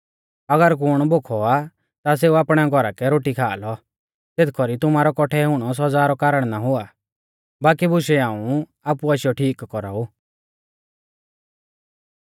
अगर कुण भोखौ आ ता सेऊ आपणै घौरा कै रोटी खा लौ ज़ेथ कौरी तुमारौ कौठै हुणौ सौज़ा रौ कारण ना हुआ बाकी बुशै हाऊं आपु आशीयौ ठीक कौराऊ